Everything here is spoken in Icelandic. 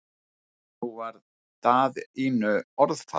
Nú varð Daðínu orðfall.